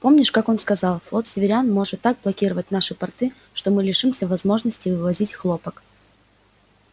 помнишь как он сказал флот северян может так блокировать наши порты что мы лишимся возможности вывозить хлопок